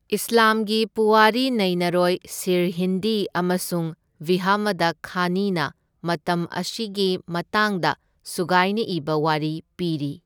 ꯏꯁꯂꯥꯝꯒꯤ ꯄꯨꯋꯥꯔꯤ ꯅꯩꯅꯔꯣꯏ ꯁꯤꯔꯍꯤꯟꯗꯤ ꯑꯃꯁꯨꯡ ꯕꯤꯍꯃꯗꯈꯥꯅꯤꯅ ꯃꯇꯝ ꯑꯁꯤꯒꯤ ꯃꯇꯥꯡꯗ ꯁꯨꯒꯥꯏꯅ ꯏꯕ ꯋꯥꯔꯤ ꯄꯤꯔꯤ꯫